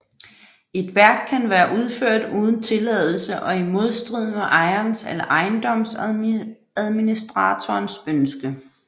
Et værk kan være udført uden tilladelse og i modstrid med ejerens eller ejendomsadministratorens ønske